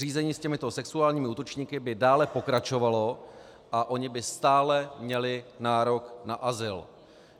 Řízení s těmito sexuálními útočníky by dále pokračovalo a oni by stále měli nárok na azyl.